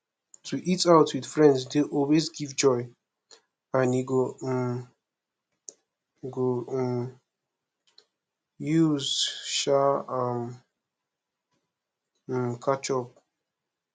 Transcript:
to eat out with friends dey always give joy and we go um go um use um am um catch up